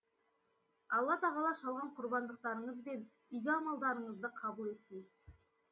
алла тағала шалған құрбандықтарыңыз бен игі амалдарыңызды қабыл еткей